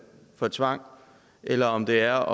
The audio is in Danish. for tvang eller om det er